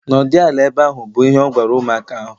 Nọdụ ala ehe ahu! Bụ ihe o gwara ụmụaka ahu!